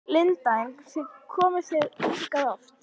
Linda: En komið þið hingað oft?